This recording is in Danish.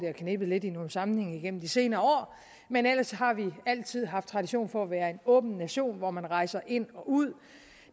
har knebet lidt i nogle sammenhænge igennem de senere år men ellers har vi altid haft tradition for at være en åben nation hvor man rejser ind og ud